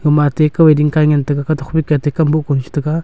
gama atte kau ee dingkai ngan taga ka tokphai ka atte kam boh kunu cha taga.